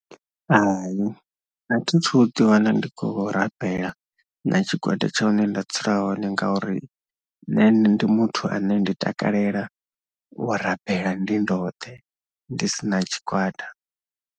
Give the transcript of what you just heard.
Hai a thi thu ḓiwana ndi khou rambela na tshigwada tsha hune nda dzula hone ngauri nṋe ndi muthu ane ndi takalela u rambela ndi ndoṱhe ndi si na tshigwada.